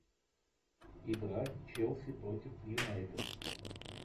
игра челси против юнайтед